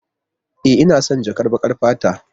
E, ina son jakar baƙar fata.